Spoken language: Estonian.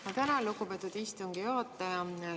Ma tänan, lugupeetud istungi juhataja!